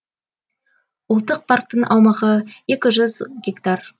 ұлттық парктің аумағы екі жүз гектар